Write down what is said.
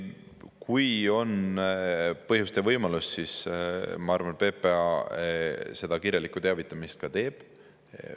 Kui on põhjust ja võimalust, siis ma arvan, et PPA seda kirjalikku teavitamist ka teeb.